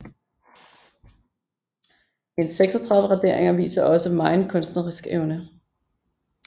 Hendes 36 raderinger viser også megen kunstnerisk evne